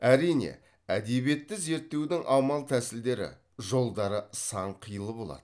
әрине әдебиетті зерттеудің амал тәсілдері жолдары сан қилы болады